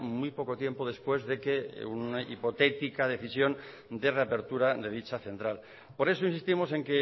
muy poco tiempo después de que una hipotética decisión de reapertura de dicha central por eso insistimos en